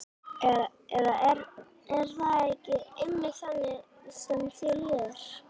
Eða er það ekki einmitt þannig sem þér líður?